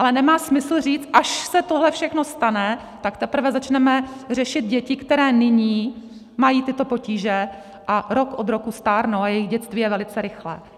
Ale nemá smysl říct, až se tohle všechno stane, tak teprve začneme řešit děti, které nyní mají tyto potíže a rok od roku stárnou a jejich dětství je velice rychlé.